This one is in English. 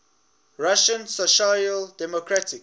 russian social democratic